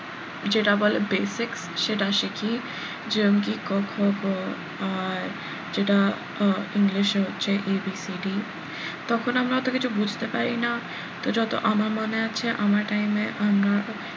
যেটা বলে basic সেটা শিখি যেরম কি ক, খ, গ আর যেটা আহ english এ হচ্ছে abcd তখন আমরা অত কিছু বুঝতে পারি না তো যত আমার মনে আছে আমার time এ আমরা,